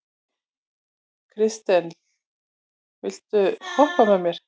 Krister, viltu hoppa með mér?